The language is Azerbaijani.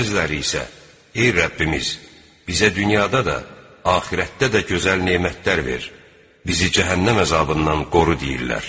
Bəziləri isə, "Ey Rəbbimiz, bizə dünyada da, axirətdə də gözəl nemətlər ver, bizi cəhənnəm əzabından qoru" deyirlər.